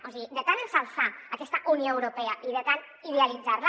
o sigui de tant exal·çar aquesta unió europea i de tant idealitzar·la